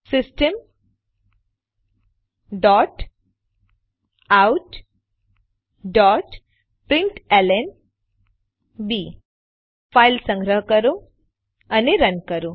system dot out dot println B file સંગ્રહો અને run કરો